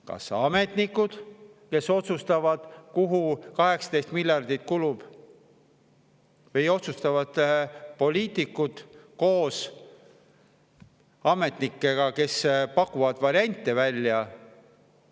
Kas ametnikud, kes otsustavad, kuhu 18 miljardit kulub, või otsustavad poliitikud koos ametnikega, kes pakuvad variante välja?